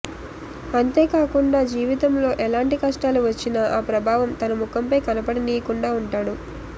అంతేకాకుండా జీవితంలో ఎలాంటి కష్టాలు వచ్చినా ఆ ప్రభావం తన ముఖంపై కనపడనీయకుండా ఉంటాడు